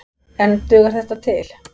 En dugar þetta til?